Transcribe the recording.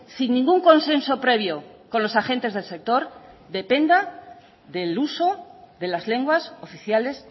sin ningún consenso previo con los agentes del sector dependa del uso de las lenguas oficiales